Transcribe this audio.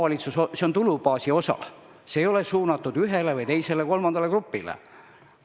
See on tulubaasi osa, see ei ole suunatud ühele või teisele või kolmandale grupile.